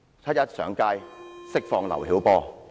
七一遊行上街，要求釋放劉曉波。